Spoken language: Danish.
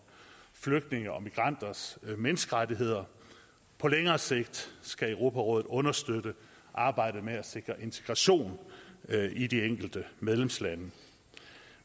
flygtninge og migranters menneskerettigheder på længere sigt skal europarådet understøtte arbejdet med at sikre integration i de enkelte medlemslande